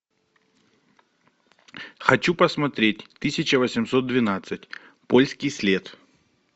хочу посмотреть тысяча восемьсот двенадцать польский след